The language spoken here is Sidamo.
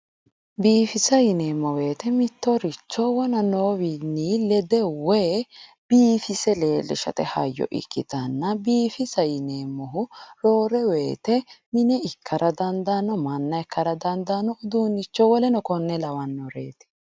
biifisa yineemmo woyite mittoricho wona noowiinni lende woy biifise leellishshate hayyo ikkitanna biifisa yineemmohu roore woyte mine ikka dandaanno manna ikka dandaanno uduunnicho woleno konne ikka dandaannoreeti